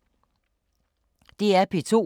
DR P2